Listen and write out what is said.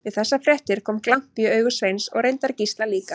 Við þessar fréttir kom glampi í augu Sveins og reyndar Gísla líka.